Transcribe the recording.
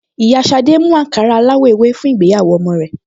Ìyá Ṣadé mú àǹkárá aláwọ̀ ewé fún ìgbéyàwó ọmọ rẹ̀